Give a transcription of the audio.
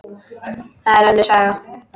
Það er önnur saga.